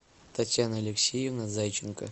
татьяна алексеевна зайченко